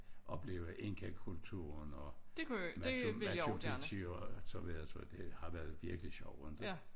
Opleve inkakulturen og Machu Machu Pichu og så videre og så videre det har virkelig været sjovt